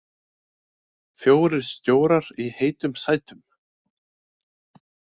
Fjórir stjórar í heitum sætum